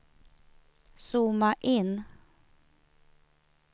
zooma in